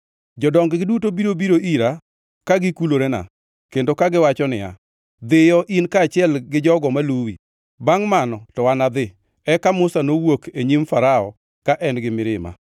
Jodong-gi duto biro biro ira ka gikulorena kendo kagiwacho ni, ‘Dhiyo, in kaachiel gi jogo maluwi!’ Bangʼ mano to anadhi.” Eka Musa nowuok e nyim Farao ka en gi mirima.